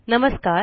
नमस्कार